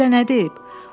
O sizə nə deyib?”